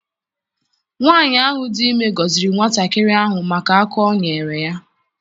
Nwaanyị ahụ dị ime gọziri nwatakịrị ahụ maka aka o nyere ya.